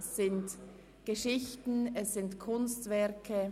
Es sind Geschichten und Kunstwerke;